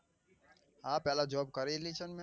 હા પેલા job કરેલી છે ને મેં